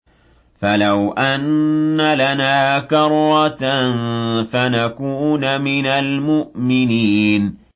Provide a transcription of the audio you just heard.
فَلَوْ أَنَّ لَنَا كَرَّةً فَنَكُونَ مِنَ الْمُؤْمِنِينَ